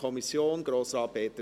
Kommissionssprecher